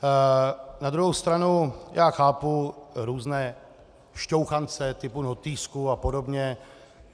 Na druhou stranu já chápu různé šťouchance typu notýsků a podobně.